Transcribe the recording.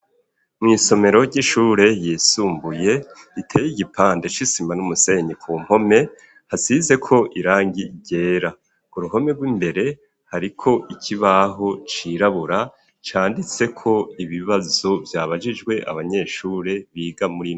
Mw'isomero ry'ishure yisumbuye iteye igipande c'isima n'umusenyi ku mpome hasize ko irangi ryera ku ruhome rw'imbere hariko ikibaho cirabura canditseko ibibazo vyabagijwe abanyeshure biga muri.